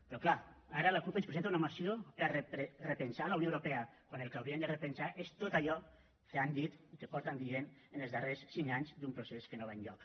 però clar ara la cup ens presenta una moció per repensar la unió europea quan el que haurien de repensar és tot allò que han dit i que porten dient en els darrers cinc anys d’un procés que no va enlloc